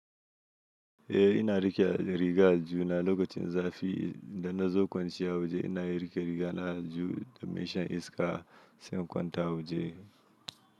Ina rike rigan aljihuna lokacin zafi na zo kwance a waje ina iya rike riga na aljihu domin shan iska sai in kwanta a waje.